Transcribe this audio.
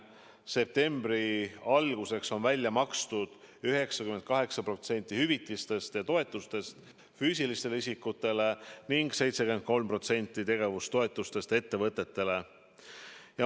Septembri alguseks on välja makstud 98% hüvitistest ja toetustest füüsilistele isikutele ning 73% tegevustoetustest ettevõtetele.